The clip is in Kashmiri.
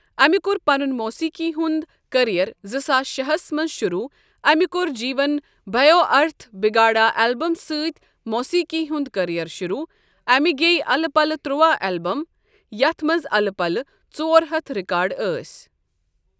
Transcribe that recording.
امہ کور پنن موٗسیٖقی ہنٛد کریر زٕ ساس شٚے ہس مَنٛز شروٗع امہِ کوٚر جیون بھیو ارتھ بگاڑا البم سعت موٗسیٖقی ہنٛد کریر شروٗع امہ گٔیہ الہٕ پلہٕ ترٛواہ البم یتھ منٛز الہ پلہ ژورہتھ رکاڈ أسۍ.